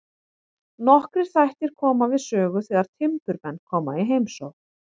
Nokkrir þættir koma við sögu þegar timburmenn koma í heimsókn.